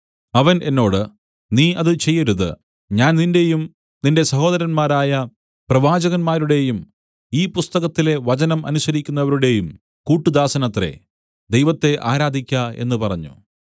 അവൻ എന്നോട് നീ അത് ചെയ്യരുത് ഞാൻ നിന്റെയും നിന്റെ സഹോദരന്മാരായ പ്രവാചകന്മാരുടേടെയും ഈ പുസ്തകത്തിലെ വചനം അനുസരിക്കുന്നവരുടെയും കൂട്ടുദാസനത്രേ ദൈവത്തെ ആരാധിക്ക എന്നു പറഞ്ഞു